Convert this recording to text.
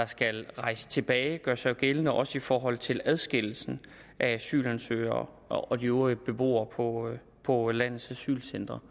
skal rejse tilbage gør sig jo gældende også i forhold til adskillelsen af asylansøgere og de øvrige beboere på på landets asylcentre